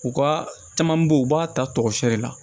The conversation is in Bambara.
U ka caman beyi u b'a ta tɔgɔsɛ de la